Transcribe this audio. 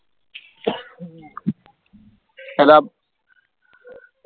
ਪਹਿਲਾ